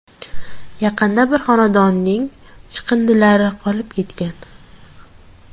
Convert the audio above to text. Yaqinda bir xonadonning chiqindilari qolib ketgan.